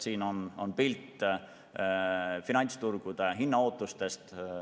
Siin on pilt finantsturgude hinnaootustest.